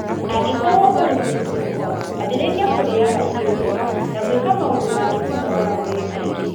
Angĩkorũo ũrĩ mũritũ mũno, ambĩrĩria kũrĩaga irio njega na gwĩkaga maũndũ makũnogora mwĩrĩ kaingĩ.